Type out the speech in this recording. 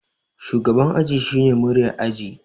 Shugaban aji shine muryar aji